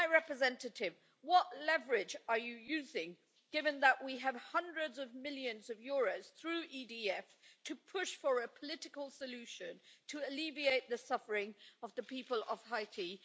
High Representative, what leverage are you using, given that we have hundreds of millions of euros through EDF to push for a political solution to alleviate the suffering of the people of Haiti?